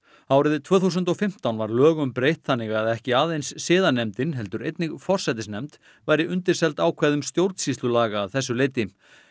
árið tvö þúsund og fimmtán var lögum breytt þannig að ekki aðeins siðanefndin heldur einnig forsætisnefnd væri undirseld ákvæðum stjórnsýslulaga að þessu leyti